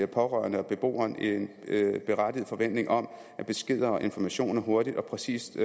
pårørende og beboeren en berettiget forventning om at beskeder og informationer hurtigt og præcist